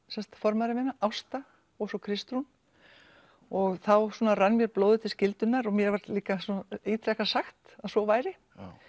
sem sagt formæðra minna Ásta og svo Kristrún og þá svona rann mér blóðið til skyldunnar og mér var líka ítrekað sagt að svo væri